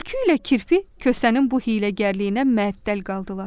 Tülkü ilə kirpi Kosanın bu hiyləgərliyinə məəttəl qaldılar.